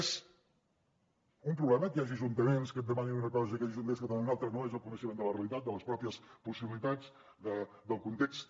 és un problema que hi hagi ajuntaments que et demanin una cosa i que hi hagi ajuntaments que te’n demanin una altra no és el coneixement de la realitat de les pròpies possibilitats del context